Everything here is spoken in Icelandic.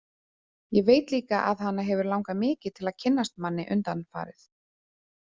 Ég veit líka að hana hefur langað mikið til að kynnast manni undanfarið.